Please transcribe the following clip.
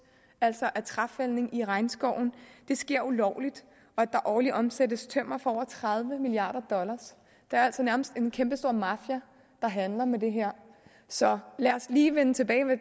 altså af træfældning i regnskoven sker ulovligt og at der årligt omsættes tømmer for over tredive milliarder dollar der er altså nærmest en kæmpestor mafia der handler med det her så lad os lige vende tilbage